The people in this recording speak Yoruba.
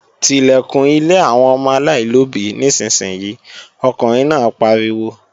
Tilẹ̀kùn ilé àwọn ọmọ aláìlóbí nísinsìnyí, ọkùnrin náà pariwo!